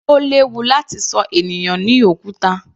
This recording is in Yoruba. Ó léwu láti ṣọ ènìyàn ní òkúta.